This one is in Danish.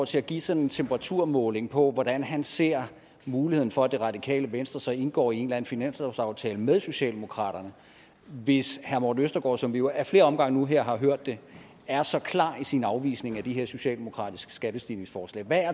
til at give sådan en temperaturmåling på hvordan han ser muligheden for at det radikale venstre så indgår i en eller anden finanslovsaftale med socialdemokraterne hvis herre morten østergaard som vi jo ad flere omgange nu her har hørt det er så klar i sin afvisning af de her socialdemokratiske skattestigningsforslag hvad